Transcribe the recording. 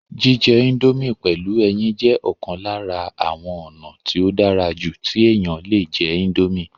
jíjẹ índómì pẹ̀lú ẹyin jẹ́ ọ̀kan lára àwọn ònà tí ó dára jù tí èèyàn le jẹ́ índómì